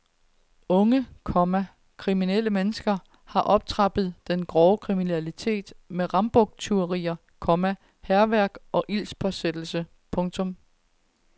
Unge, komma kriminelle mennesker har optrappet den grove kriminalitet med rambuktyverier, komma hærværk og ildspåsættelse. punktum